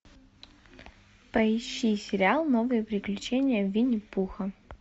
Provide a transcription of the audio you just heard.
поищи сериал новые приключения винни пуха